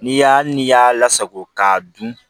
N'i y'a n'i y'a lasako k'a dun